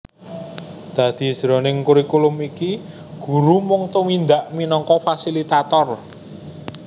Dadi jroning kurikulum iki guru mung tumindak minangka fasilitator